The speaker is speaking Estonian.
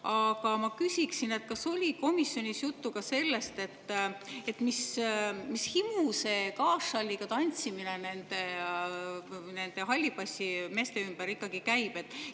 Aga ma küsin: kas oli komisjonis juttu ka sellest, et mis himu see on, et see gaassalliga tantsimine nende hallipassimeeste ümber käib?